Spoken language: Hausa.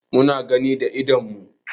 Mu na gani da idanun mu.